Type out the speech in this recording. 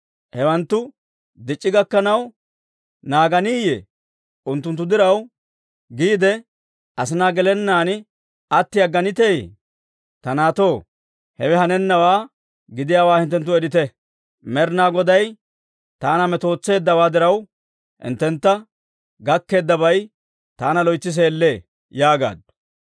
hewanttu dic'c'i gakkanaw naaganiteyee? Unttunttu diraw giidde, asinaa gelennaan atti agganiteeyye? Ta naatto, hewe hanennawaa gidiyaawaa hinttenttu eriita. Med'inaa Goday taanna metootseeddawaa diraw, hinttentta gakkeeddabay taanna loytsi seellee» yaagaaddu.